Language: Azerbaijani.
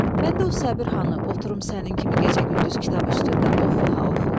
Məndə o Səbir xanı oturun sənin kimi gecə-gündüz kitab üstündə oxu ha oxu.